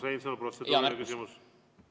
Urmas Reinsalu, protseduuriline küsimus, palun!